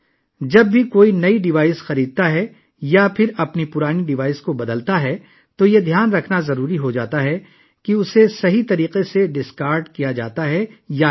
جب بھی کوئی نیا ڈیوائس خریدتا ہے یا کسی کی پرانی ڈیوائس کو تبدیل کرتا ہے تو یہ ذہن میں رکھنا ضروری ہو جاتا ہے کہ آیا اسے صحیح طریقے سے ضائع کیا گیا ہے یا نہیں